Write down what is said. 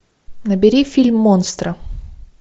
набери фильм монстро